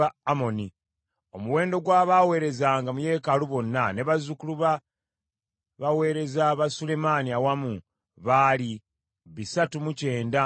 Omuwendo ogw’abaaweerezanga mu yeekaalu ne bazzukulu b’abaweereza ba Sulemaani bonna awamu, gwali bisatu mu kyenda mu babiri (392).